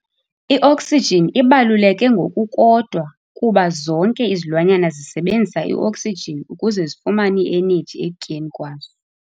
I-Oxygen ibaluleke ngokukodwa kuba zonke izilwanyana zisebenzisa i-oxygen ukuze zifumane i-energy ekutyeni kwazo.